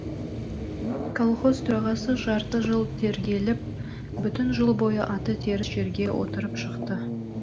колхоз төрағасы жарты жыл тергеліп бүтін жыл бойы аты теріс жерге отырып шықты